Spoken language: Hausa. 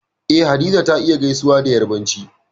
Eh Hadiza ta iya gaisuwa da Yarbanci